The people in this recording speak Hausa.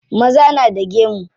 Maza na da gemu.